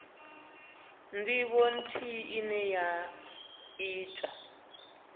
ndivho nthihi ine ya ita